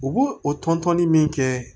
U b'o o tɔn tɔnni min kɛ